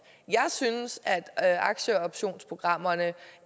jeg synes at aktieoptionsprogrammerne